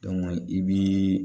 i bii